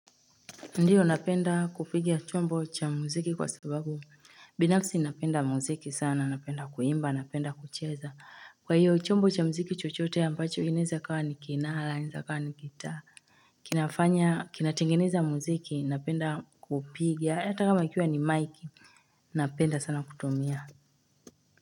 Ndiyo napenda kupigi chombo cha muziki kwa sababu binafsi napenda muziki sana napenda kuimba napenda kucheza kwa hiyo chombo cha muziki chochote ambacho inaweza kuwa inaweA kwa ni gitaa kinafanya kinatengeneza muziki napenda kuupigia hata kama kikiwa ni mike Napenda sana kutumia.